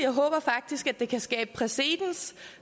jeg håber faktisk at det kan skabe præcedens